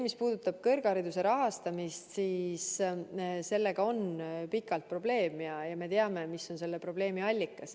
Mis puudutab kõrghariduse rahastamist, siis see on pikalt probleem olnud ja me teame, mis on selle probleemi allikas.